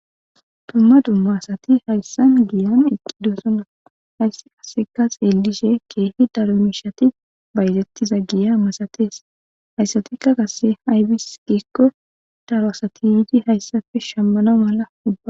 dumma dumma asati hayssan giyan eqqidosona hayssi qaseka xeelishe keehi daro mishati baytettiza giya masatees hayssatikka qasse haybis qikko daro asati yuudi hayssafe shammana mala ua